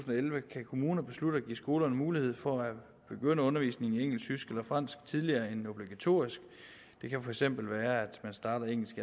elleve kan kommunerne beslutte at give skolerne mulighed for at begynde undervisning i engelsk tysk eller fransk tidligere end obligatorisk det kan for eksempel være at man starter engelsk